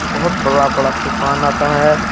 बहुत बड़ा-बड़ा तूफ़ान आता है।